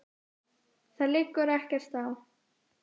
Það liggur ekkert á.